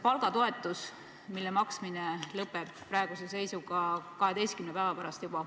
Palgatoetuse maksmine lõpeb praeguse seisuga 12 päeva pärast.